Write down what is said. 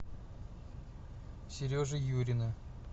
сережи юрина